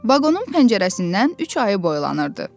Vaqonun pəncərəsindən üç ayı boylanırdı.